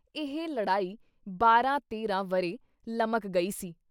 ਇਹ ਲੜਾਈ ਬਾਰਾਂ ਤੇਰ੍ਹਾਂ ਵਰ੍ਹੇ ਲਮਕ ਗਈ ਸੀ।